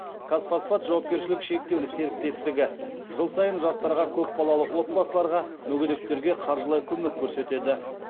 казфосфат жауапкешілігі шектеулі серіктестігі жыл сайын жастарға көп балалы отбасыларға мүгедектерге қаржылай көмек көрсетеді